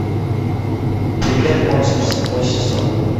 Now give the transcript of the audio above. привет монстр седьмой сезон